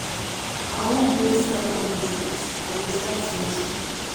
i wan build start up business. i go start small small.